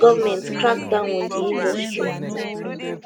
goment crackdown on di industry